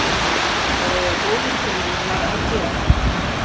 Það eiga góðir fjölmiðlar að gera